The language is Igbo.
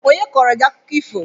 Onye kọọrọ gị akụkọ ifo?